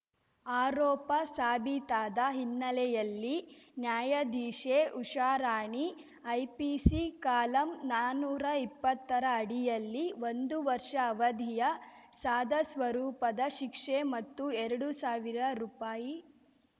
ಆರೋಪ ಸಾಬೀತಾದ ಹಿನ್ನೆಲೆಯಲ್ಲಿ ನ್ಯಾಯಾಧೀಶೆ ಉಷಾರಾಣಿ ಐಪಿಸಿ ಕಾಲಂ ನಾನುರಾ ಇಪ್ಪತ್ತರ ಅಡಿಯಲ್ಲಿ ಒಂದುವರ್ಷ ಅವಧಿಯ ಸಾದಾ ಸ್ವರೂಪದ ಶಿಕ್ಷೆ ಮತ್ತು ಎರಡು ಸಾವಿರ ರುಪಾಯಿ